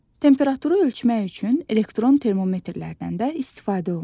Temperaturu ölçmək üçün elektron termometrlərdən də istifadə olunur.